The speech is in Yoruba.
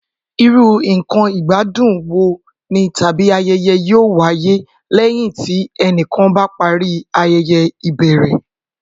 Irú nǹkan ìgbádùn wo ni tàbí ayẹyẹ yóò wáyé lẹ́yìn tí ẹnìkan bá parí ayẹyẹ ìbẹ̀rẹ̀?